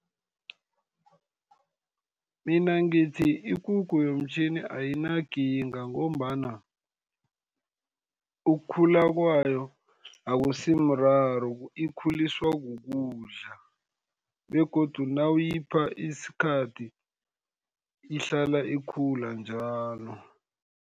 Mina ngithi ikukhu yomtjhini ayinakinga, ngombana ukukhula kwayo akusi mraro. Ikhuliswa kukudla, begodu nawuyipha isikhathi, ihlala ikhula njalo.